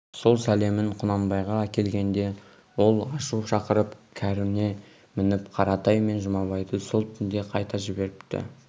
сол сәлемін құнанбайға әкелгенде ол ашу шақырып кәріне мініп қаратай мен жұмабайды сол түнде қайта жіберіп